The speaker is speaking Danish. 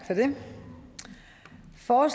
for